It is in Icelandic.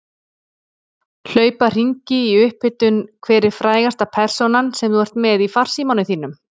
Hlaupa hringi í upphitun Hver er frægasta persónan sem þú ert með í farsímanum þínum?